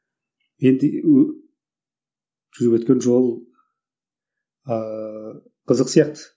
енді жүріп өткен жол ыыы қызық сияқты